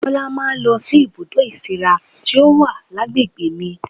Bọlá máa ń lọ sí ibùdó ìsíra tí ó wà lágbègbè mi